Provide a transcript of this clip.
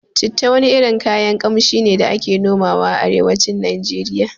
Citta wani irin kayan Ƙamshi ne da ake noma a arewacin Nijeriya